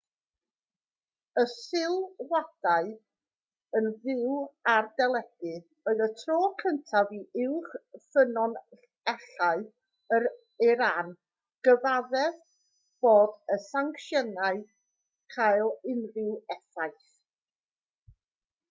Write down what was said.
y sylwadau yn fyw ar deledu oedd y tro cyntaf i uwch ffynonellau yn iran gyfaddef bod y sancsiynau'n cael unrhyw effaith